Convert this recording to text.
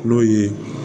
N'o ye